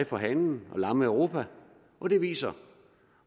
for hanen og lamme europa og det viser